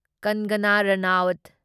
ꯀꯪꯒꯅ Ranaut